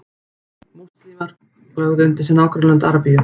múslímar lögðu undir sig nágrannalönd arabíu